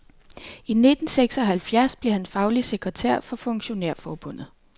I nitten seks og halvfjerds blev han faglig sekretær for funktionærforbundet.